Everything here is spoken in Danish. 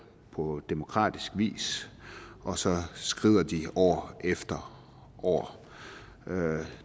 på demokratisk vis og så skrider de år efter år